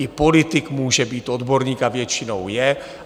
I politik může být odborník a většinou je.